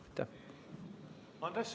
Andres Sutt, palun!